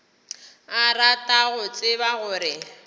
a rata go tseba gore